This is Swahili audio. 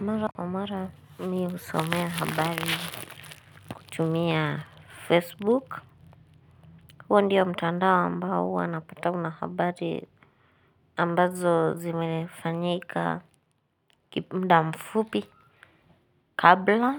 Mara kwa mara mimi husomea habari kutumia Facebook. Huwa ndio mtandao ambao huwa napata una habari ambazo zimefanyika muda mfupi kabla.